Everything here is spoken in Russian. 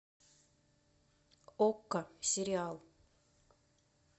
окко сериал